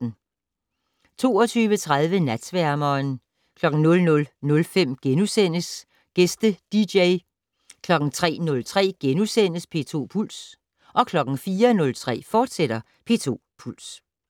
22:30: Natsværmeren 00:05: Gæste dj * 03:03: P2 Puls * 04:03: P2 Puls, fortsat